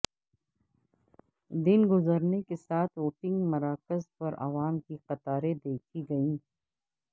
دن گزرنے کے ساتھ ووٹنگ مراکز پر عوام کی قطاریں دیکھی گئیں